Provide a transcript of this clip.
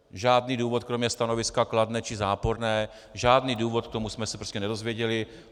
Žádný důvod kromě stanoviska kladné či záporné, žádný důvod k tomu jsme se prostě nedozvěděli.